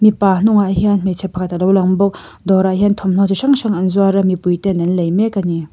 mipa hnungah hian hmeichhe pakhat a lo lang bawk dawrah hian thawnhnaw chi hrang hrang an zuar a mipui ten an lei mek a ni.